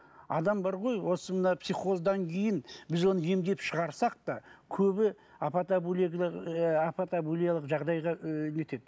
адам бар ғой осы мына психоздан кейін біз оны емдеп шығарсақ та көбі апатабулиялық жағдайға ыыы нетеді